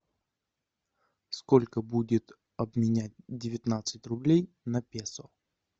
сколько будет обменять девятнадцать рублей на песо